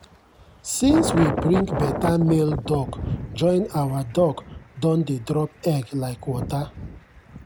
since we bring better male duck join our duck don dey drop egg like water.